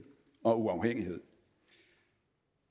og uafhængighed